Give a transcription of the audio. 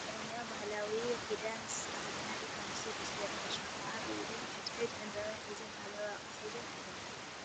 ናይ ኦሮምያ ባህላዊ ኪዳን ዝተከደና ደቂ ኣንስትዮ ብ ዝገሪም ፍሽክታ ኣብ ኢደን ሕድ ሕደን ዕምበባ ሒዘን ባህላዊ ኣቅሓ ሒዘን ኣለዋ ።